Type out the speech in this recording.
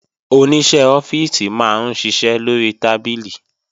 Oníṣẹ́ ọ́fíìsì máa ń ṣiṣẹ́ lórí tábìlì